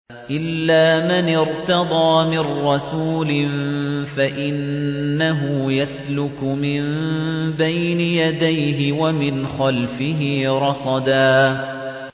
إِلَّا مَنِ ارْتَضَىٰ مِن رَّسُولٍ فَإِنَّهُ يَسْلُكُ مِن بَيْنِ يَدَيْهِ وَمِنْ خَلْفِهِ رَصَدًا